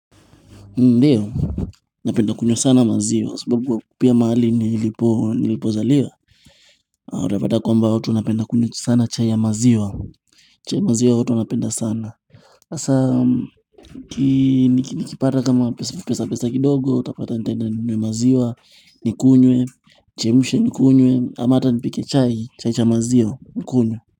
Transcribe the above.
Ndio, napenda kunywa sana maziwa, sababu pia mahali nilipozaliwa Utapata kwamba watu wanapenda kunywa sana chai ya maziwa chai maziwa watu wanapenda sana Hasa, nikipata kama pesa pesa kidogo, utapata nitaenda ninunue maziwa, nikunywe, nichemushe nikunywe, am hata nipike chai, chai cha maziwa, nikunywe.